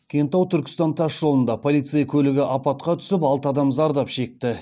кентау түркістан тас жолында полицей көлігі апатқа түсіп алты адам зардап шекті